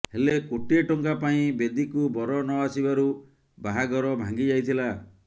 ହେଲେ କୋଟିଏ ଟଙ୍କା ପାଇଁ ବେଦୀକୁ ବର ନଆସିବାରୁ ବାହାଘର ଭାଙ୍ଗିଯାଇଥିଲା